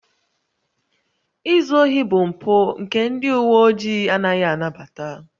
Izu ohi bụ mpụ nke ndị uwe ojii anaghị anabata